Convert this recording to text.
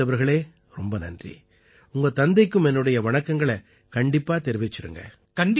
அபிஜீத் அவர்களே நன்றி உங்க தந்தைக்கும் என்னோட வணக்கங்களைக் கண்டிப்பா தெரிவிச்சிருங்க